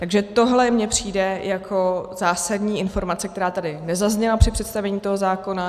Takže tohle mně přijde jako zásadní informace, která tady nezazněla při představení toho zákona.